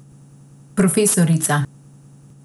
Profesorica.